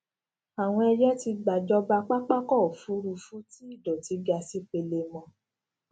àwọn ẹyẹ tí gba jọba papako òfuurufú tí idoti ga sì pelemo